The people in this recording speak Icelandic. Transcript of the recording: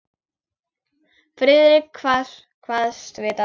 Friðrik kvaðst vita það.